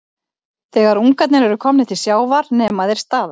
Þegar ungarnir eru komnir til sjávar nema þeir staðar.